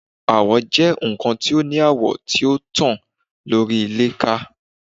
Awọ jẹ nkan ti o ni awọ ti o tan lori ilẹ kan